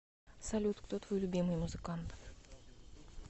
салют кто твой любимый музыкант